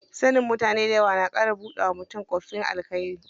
Sanin mutane dayawa na ƙara buɗawa mutum ƙofifin alkhairi.